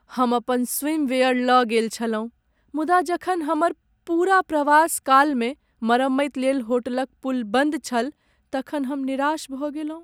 हम अपन स्विमवीयर लऽ गेल छलहुँ मुदा जखन हमर पूरा प्रवास कालमे मरम्मति लेल होटलक पूल बन्द छल तखन हम निराश भऽ गेलहुँ ।